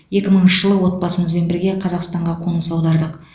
екі мыңыншы жылы отбасымызбен бірге қазақстанға қоныс аудардық